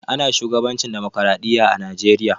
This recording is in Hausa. Ana shugabancin demokradiyya a najeriya.